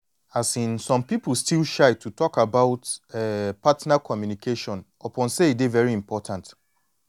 um some people still shy to talk about um partner communication upon say e dey very important